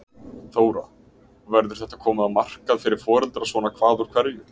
Þóra: Og verður þetta komið á markað fyrir foreldra svona hvað úr hverju?